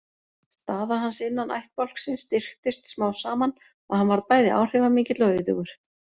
Staða hans innan ættbálksins styrktist smám saman og hann varð bæði áhrifamikill og auðugur.